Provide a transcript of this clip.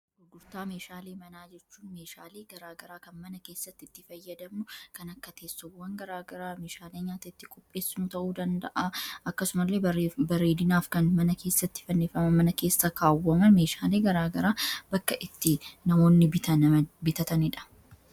Gurguftaa meeshaalee manaa jechuun meeshaalee garaagaraa kan mana keessatti itti fayyadanu kan akka teessuwwan garaagaraa meeshaalee nyaata itti qopheessuu ta'uu danda'a akkasumalee bareedinaaf kan mana keessatti fannifama mana keessa kaawwaman meeshaalii garaagaraa bakka itti namoonni bitataniidha.